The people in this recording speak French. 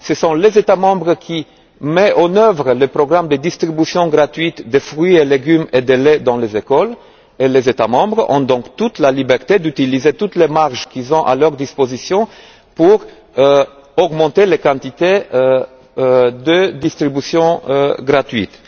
Ce sont les États membres qui mettent en œuvre le programme de distribution gratuite de fruits et légumes et de lait dans les écoles et les États membres ont donc toute la liberté d'utiliser toutes les marges qu'ils ont à leur disposition pour augmenter les quantités de distribution gratuite.